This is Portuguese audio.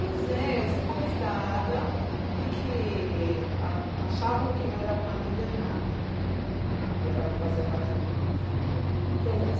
Pois é, eu fui convidada porque a achavam que eu era uma líder nata hã, que era fazia parte do meu perfil, compunha o meu perfil. Quem